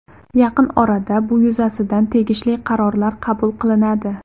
Yaqin orada bu yuzasidan tegishli qarorlar qabul qilinadi.